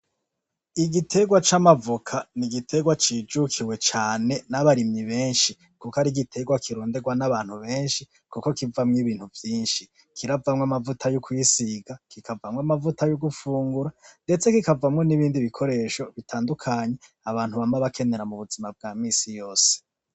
Igiterwa c'amavoka n'igiterwa cijukiwe cane n'abarimyi benshi kuko n'igiterwa kironderwa n'abarimyi benshi kuko kivamwo ibintu vyinshi, kiravamwo amavuta yo kwisiga, kikavamwo amavuta yo gufungura ndetse kikavamwo n'ibindi bikoresho bitandukanye Abantu bama bakenera m'ubuzima bwamisi yose.